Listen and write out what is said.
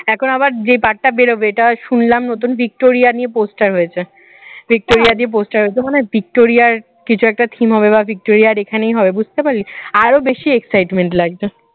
এখন আবার যে part টা বেরোবে এটা শুনলাম নতুন ভিক্টোরিয়া নিয়ে poster হয়েছে ভিক্টোরিয়ার দিয়ে poster একদম মানে ভিক্টোরিয়ার কিছু একটা theme হবে বা ভিক্টোরিয়ার এখানেই হবে বুঝতে পারলি? আরো বেশি excitement লাগছে